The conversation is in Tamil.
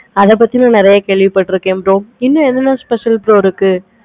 அத பத்தி இன்னும் நெறைய கேள்வி பார்த்துருக்கேன் bro இன்னு எண்ணலாம் special இருக்கு bro